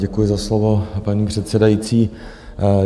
Děkuji za slovo, paní předsedající.